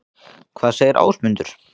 Hvað segir Ásmundur?